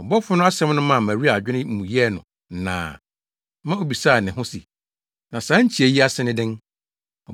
Ɔbɔfo no asɛm no maa Maria adwene mu yɛɛ no nnaa ma obisaa ne ho se, “Na saa nkyia yi ase ne dɛn?”